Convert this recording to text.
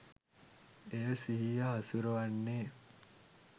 එයා සිහිය හසුරුවන්නේ